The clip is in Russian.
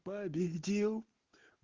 победил